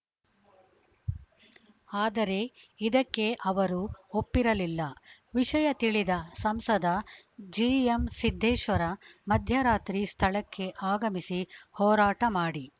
ಆದರೆ ಇದಕ್ಕೆ ಅವರು ಒಪ್ಪಿರಲಿಲ್ಲ ವಿಷಯ ತಿಳಿದ ಸಂಸದ ಜಿಎಂ ಸಿದ್ದೇಶ್ವರ ಮಧ್ಯ ರಾತ್ರಿ ಸ್ಥಳಕ್ಕೆ ಆಗಮಿಸಿ ಹೋರಾಟ ಮಾಡಿ